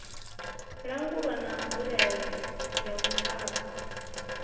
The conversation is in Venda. langulwa na nzulele ya muvhango